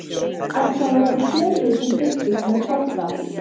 En það voru fleiri sem fylgdust með Tóta.